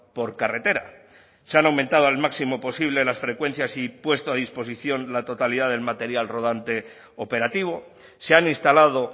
por carretera se han aumentado al máximo posible las frecuencias y puesto a disposición la totalidad del material rodante operativo se han instalado